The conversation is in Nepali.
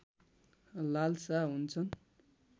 लालसा हुन्छन्